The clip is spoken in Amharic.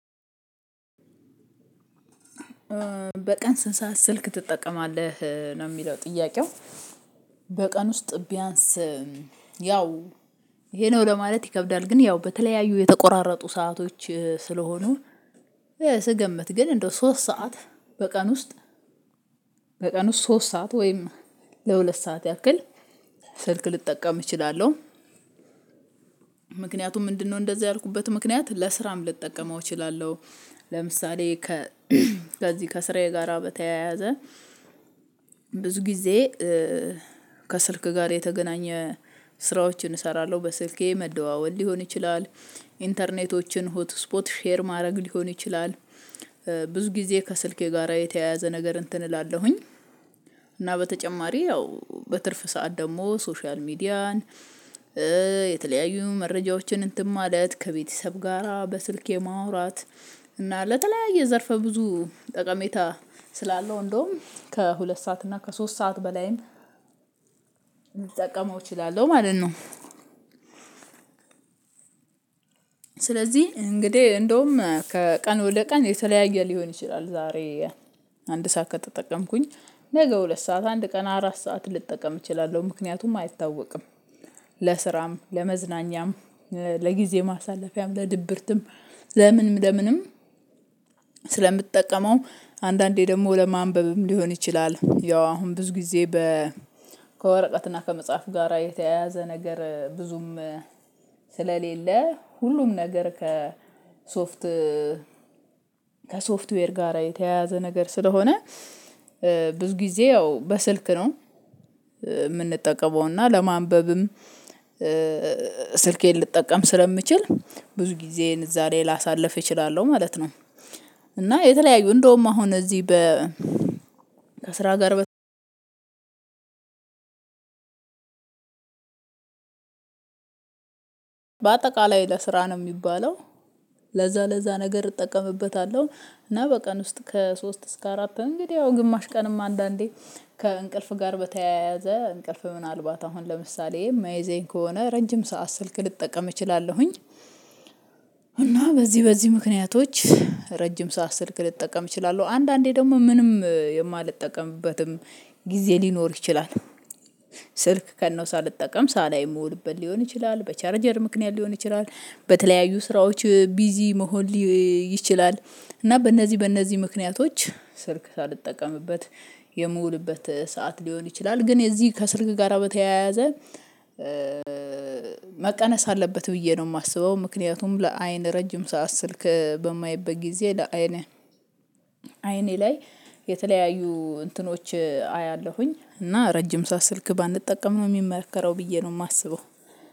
በቀን ስንት ሰዓት ስልክ ትጠቀማለህ ነው የሚለው ጥያቄው? በቀን ውስጥ ቢያንስ ያው ይሄ ነው ለማለት ይከብዳል ግን ያው በተለያዩ የተቆራረጡ ሰአቶች ስለሆኑ ስገመት ግን እንደው ሶስት ሰዓት በቀን ውስጥ በቀን ውስጥ ሶስት ሰዓት ወይም ለሁለት ሰዓት ያክል ስልክ ልጠቀም እችላለሁ። ምክንያቱም ምንድነው እንደዚህ ያልኩበት ምክንያት ለስራም ልጠቀመው እችላለሁ ለምሳሌ ከዚህ ከስራዬ ጋራ በተያያዘ ብዙ ጊዜ ከስልክ ጋር የተገናኘ ስራዎችን እሰራለሁ በስልኬ መደዋወል ሊሆን ይችላል ኢንተርኔቶችን ሆት ስፖት ሼር ማድረግ ሊሆን ይችላል። ብዙ ጊዜ ከስልኬ ጋራ የተያያዘ ነገር እንትን እላለሁኝ እና በተጨማሪ ያው በትርፍ ሰዓት ደግሞ ሶሻል ሚዲያን የተለያዩ መረጃዎችን እንትን ማለት ከቤተሰብ ጋራ በስልክ የማውራት እና ለተለያየ ዘርፈ ብዙ ጠቀሜታ ስላለው እንደውም ከሁለት ሰዓት እና ከሶስት ሰዓት በላይም ልጠቀመው እችላለሁ ማለት ነው። ስለዚህ እንግዲህ እንደውም ከቀን ወደ ቀን የተለያየ ሊሆን ይችላል ዛሬ አንድ ሰዓት ከተጠቀምኩኝ ነገ ሁለት ሰዓት አንድ ቀን አራት ሰዓት ልጠቀም እችላለሁ ምክንያቱም አይታወቅም። ለስራም ለመዝናኛም ለጊዜ ማሳለፊያም ለድብርትም ለምንም ለምንም ስለምትጠቀመው አንዳንዴ ደግሞ ለማንበብም ሊሆን ይችላል ያው አሁን ብዙ ጊዜ በ ከወረቀትና ከመጽሐፍ ጋራ የተያያዘ ነገር ብዙም ስለሌለ ሁሉም ነገር ከሶፍት ከሶፍትዌር ጋራ የተያያዘ ነገር ስለሆነ። ብዙ ጊዜ ያው በስልክ ነው የምንጠቀመው እና ለማንበብም ስልኬን ልጠቀም ስለምችል ብዙ ጊዜዬን እዛ ላይ ላሳልፍ እችላለሁ ማለት ነው። እና የተለያዩ እንደውም አሁን እዚህ በ ከስራ ጋር በአጠቃላይ ለስራ ነው የሚባለው ለዛ ለዛ ነገር እጠቀምበታለሁ እና በቀን ውስጥ ከሶስት እስከ አራት እንግዲህ ያው ግማሽ ቀንም አንዳንዴ ከእንቅልፍ ጋር በተያያዘ እንቅልፍ ምናልባት አሁን ለምሳሌ የማይዘኝ ከሆነ ረጅም ሰዓት ስልክ ልጠቀም እችላለሁኝ። እና በዚህ በዚህ ምክንያቶች ረጅም ሰዓት ስልክ ልጠቀም እችላለሁ አንዳንዴ ደግሞ ምንም የማልጠቀምበትም ጊዜ ሊኖር ይችላል። ስልክ ከነው ሳልጠቀም ሳላይ የምውልበት ሊሆን ይችላል በቻርጀር ምክንያት ሊሆን ይችላል በተለያዩ ስራዎች ቢዚ መሆን ሊ ይችላል እና በእነዚህ በእነዚህ ምክንያቶች ስልክ ሳልጠቀምበት የምውልበት ሰዓት ሊሆን ይችላል። ግን እዚህ ከስልክ ጋራ በተያያዘ መቀነስ አለበት ብዬ ነው የማስበው ምክንያቱም ለአይን ረጅም ሰዓት ስልክ በማየበት ጊዜ ለአይን አይኔ ላይ የተለያዩ እንትኖች አያለሁኝ እና ረጅም ሰዓት ስልክ ባንጠቀም ነው የሚመርከረው ብዬ ነው የማስበው